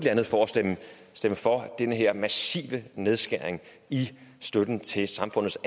andet for at stemme for den her massive nedskæring i støtten til samfundets